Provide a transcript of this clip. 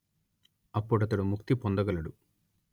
అప్పుడతడు ముక్తి పొందగలడు